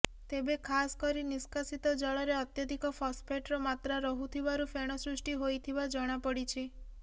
ତେବେ ଖାସ କରି ନିଷ୍କାସିତ ଜଳରେ ଅତ୍ୟଧିକ ଫସଫେଟ୍ର ମାତ୍ରା ରହୁଥିବାରୁ ଫେଣ ସୃଷ୍ଟି ହୋଇଥିବା ଜଣାପଡିଛି